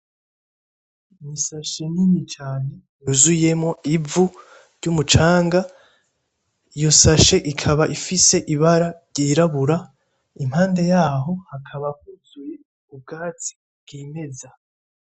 N'ishashe nini cane yizuyemwo ivu ry'umucanga, iyo shashe ikaba ifise ibara ryirabura, impande yaho hakaba huzuye ubwatsi bwimeza.